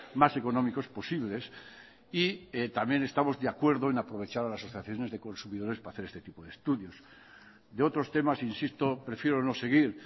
más económicos posibles y también estamos de acuerdo en aprovechar las asociaciones de consumidores para hacer este tipo de estudios de otros temas insisto prefiero no seguir